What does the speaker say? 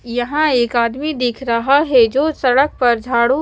यहाँ एक आदमी दिख रहा है जो सड़क पर झाड़ू--